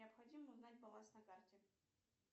необходимо узнать баланс на карте